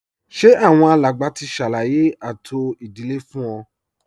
Ṣé àwọn alàgbà ti ṣàlàyé ààtò ìdílé fún ọ